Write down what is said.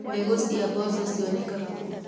Mbegũ cia mboco cionekaga kũ.